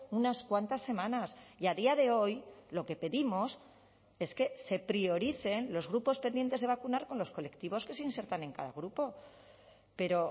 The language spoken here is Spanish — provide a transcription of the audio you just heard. unas cuantas semanas y a día de hoy lo que pedimos es que se prioricen los grupos pendientes de vacunar con los colectivos que se insertan en cada grupo pero